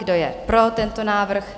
Kdo je pro tento návrh?